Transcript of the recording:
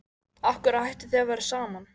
Af hverju hættuð þið að vera saman?